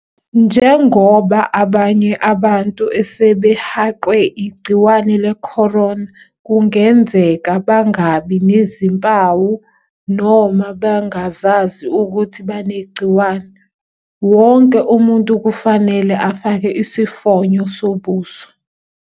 Njengoba abanye abantu asebehaqwe igciwane le-corona kungenzeka bangabi nazimpawu noma bangazazi ukuthi banegciwane, wonke umuntu kufanele afake isifonyo sobuso.